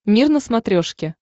мир на смотрешке